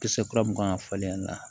Kisɛ kura mun kan ka falen a la